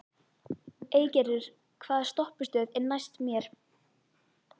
Eygerður, hvaða stoppistöð er næst mér?